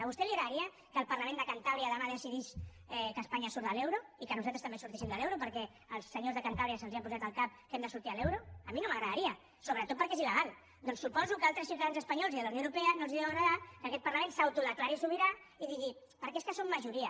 a vostè li agradaria que el parlament de cantàbria demà decidís que espanya surt de l’euro i que nosaltres també sortíssim de l’euro perquè als espanyols de cantàbria se’ls ha posat al cap que hem de sortir de l’euro a mi no m’agradaria sobretot perquè és ilsuposo que a altres ciutadans espanyols i de la unió europea no els deu agradar que aquest parlament s’autodeclari sobirà i digui perquè és que som majoria